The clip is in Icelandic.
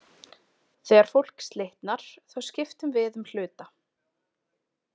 Þegar fólk slitnar, þá skiptum við um hluta.